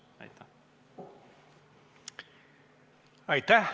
Aitäh!